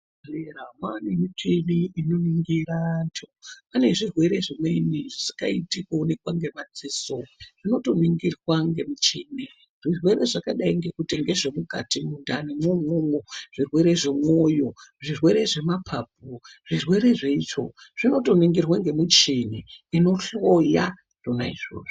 Muzvibhehleya mwaane michini inoningira anhu panezvirwere zvimweni zvisingaiti kuonekwa ngemadziso zvinotoningirwa ngemuchini, zvirwere zvakadai ngezvekuti mukati mundani mwo imwomwo zvirwere zvemwoyo, zvirwere zvemapapu, zvirwre zveitsvo zvinotoningirwa ngemuchini inohloya zvona izvovzo.